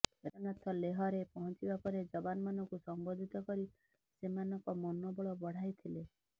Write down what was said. ରାଜନାଥ ଲେହରେ ପହଞ୍ଚିବା ପରେ ଯବାନମାନଙ୍କୁ ସମ୍ବୋଧିତ କରି ସେମାନଙ୍କ ମନୋବଳ ବଢ଼ାଇଥିଲେ